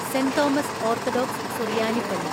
saint Thomas Orthodox സുറിയാനിപള്ളി